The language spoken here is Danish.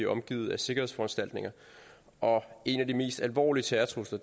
omgivet af sikkerhedsforanstaltninger og en af de mest alvorlige terrortrusler